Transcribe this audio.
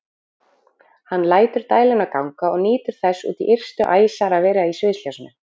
Hann lætur dæluna ganga og nýtur þess út í ystu æsar að vera í sviðsljósinu.